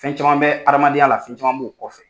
Fɛn caman bɛ adamadenya la fɛn caman b'u kɔfɛ.